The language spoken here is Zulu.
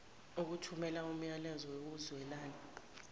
ukuthumela umyalezo wokuzwelana